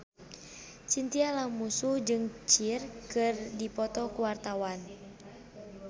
Chintya Lamusu jeung Cher keur dipoto ku wartawan